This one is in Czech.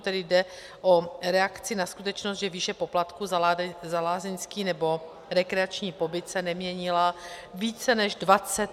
Tady jde o reakci na skutečnost, že výše poplatku za lázeňský nebo rekreační pobyt se neměnila více než 25 let.